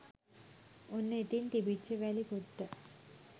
ඔන්න ඉතින් තිබිච්ච වැලි කොට්ට